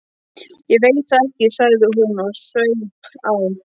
Ég veit það ekki, sagði hún og saup á.